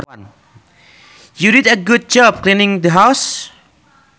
You did a good job cleaning the house